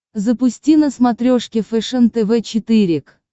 запусти на смотрешке фэшен тв четыре к